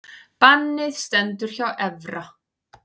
Bannið stendur hjá Evra